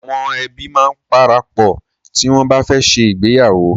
Awọn ẹbi máa ń parapọ̀ tí wọn bá fẹ́ ṣe ìgbéyàwó.